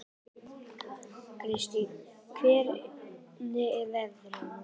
Kristin, hvernig er veðrið á morgun?